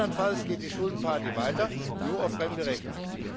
Andernfalls geht die Schuldenparty weiter, nur auf fremde Rechnung.